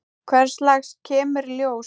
Hvers lags kemur í ljós.